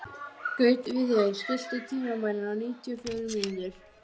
Berti verður ennþá fölari og opnar dyrnar.